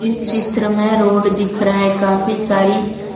इस चित्र में रोड दिख रहा है काफी सारी--